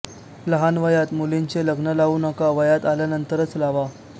लहान वयात मुलींचे लग्न लावू नका वयात आल्यानंतरच लावा